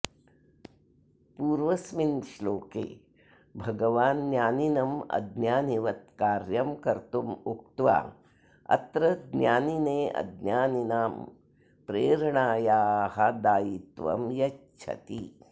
पूर्वस्मिन् श्लोके भगवान् ज्ञानिनम् अज्ञानिवत् कार्यं कर्तुम् उक्त्वा अत्र ज्ञानिने अज्ञानिनां प्रेरणायाः दायित्वं यच्छति